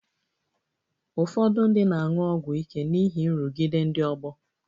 Ụfọdụ ndị na-aṅụ ọgwụ ike n'ihi nrụgide ndị ọgbọ